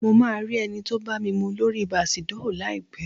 Mo máa rí ẹni tó bámimu lóri Bàsdóò láìpẹ́